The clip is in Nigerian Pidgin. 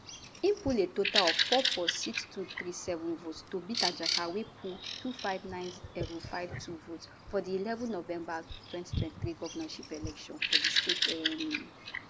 im poll a total of 446237 votes to beat ajaka wey bin poll 259052 votes for di eleven november 2023 govnorship election for di state um